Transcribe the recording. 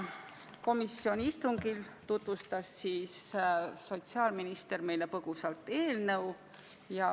Komisjoni istungil tutvustas sotsiaalminister meile põgusalt eelnõu.